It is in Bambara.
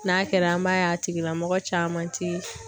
N'a kɛra an b'a ye a tigilamɔgɔ caman ti